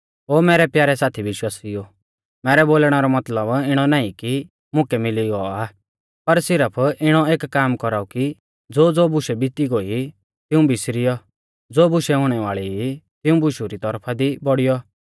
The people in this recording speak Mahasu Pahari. ओ मैरै प्यारै साथी विश्वासिउओ मैरै बोलणै रौ मतलब इणौ नाईं कि मुकै मिली गौ आ पर सिरफ इणौ एक काम कौराऊ कि ज़ोज़ो बुशै बिती गोई तिऊं बिसरीयौ ज़ो बुशै हुणै वाल़ी ई तिऊं बुशु री तौरफा दी बौड़ियौ